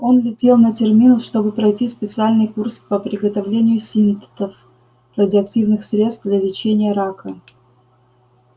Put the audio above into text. он летел на терминус чтобы пройти специальный курс по приготовлению синтетов радиоактивных средств для лечения рака